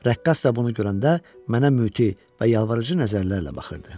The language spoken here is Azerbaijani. Rəqqas da bunu görəndə mənə müti və yalvarıcı nəzərlərlə baxırdı.